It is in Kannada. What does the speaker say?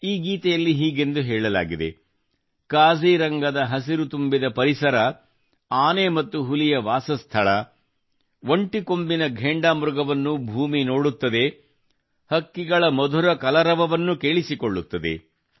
ಈ ಗೀತೆಯಲ್ಲಿ ಹೀಗೆಂದು ಹೇಳಲಾಗಿದೆ ಕಾಜಿರಂಗದ ಹಸಿರು ತುಂಬಿದ ಪರಿಸರ ಆನೆ ಮತ್ತು ಹುಲಿಯ ವಾಸಸ್ಥಳ ಒಂದು ಕೊಂಬಿನ ಘೇಂಡಾಮೃಗವನ್ನು ಭೂಮಿ ನೋಡುತ್ತದೆ ಹಕ್ಕಿಗಳ ಮಧುರ ಕಲರವವನ್ನು ಕೇಳಿಸಿಕೊಳ್ಳುತ್ತದೆ